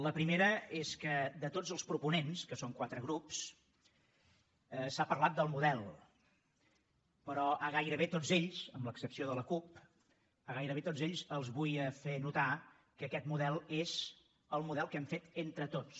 la primera és que de tots els proponents que són quatre grups s’ha parlat del model però a gairebé tots ells amb l’excepció de la cup els vull fer notar que aquest model és el model que hem fet entre tots